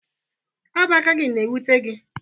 ọ bụ aka gị na-ewute gị